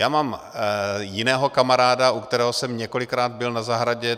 Já mám jiného kamaráda, u kterého jsem několikrát byl na zahradě.